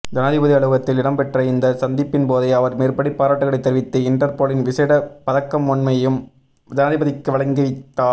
ஜனாதிபதி அலுவலகத்தில் இடம்பெற்ற இந்த சந்திப்பின்போதே அவர் மேற்படி பாராட்டுக்களை தெரிவித்து இன்டர்போலின் விசேட பதக்கமொன்யையும் ஜனாதிபதிக்கு வழங்கிவைத்தா